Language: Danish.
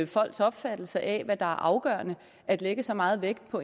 folks opfattelse af hvad der er afgørende at lægge så meget vægt på